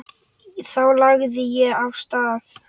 Þá lagði ég af stað.